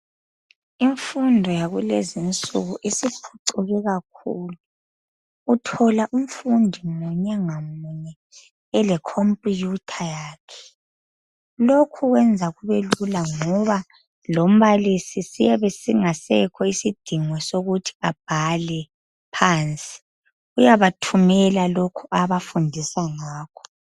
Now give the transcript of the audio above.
Imfundo yakulezinsuku isiphucuke kakhulu, uthola umfundi munye ngamunye ele khompiyuthatha yakhe lokhu kwenza kube lula ngoba lombalisi siyabe singasekho isidingo sokuthi abhale phansi uyabathumela lokho afundisa ngakho.